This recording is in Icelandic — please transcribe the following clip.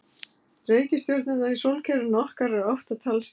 Reikistjörnurnar í sólkerfinu okkar eru átta talsins.